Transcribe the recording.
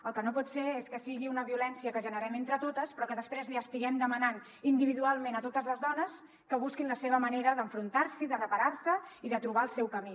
el que no pot ser és que sigui una violència que generem entre totes però que després els estiguem demanant individualment a totes les dones que busquin la seva manera d’enfrontar s’hi de reparar se i de trobar el seu camí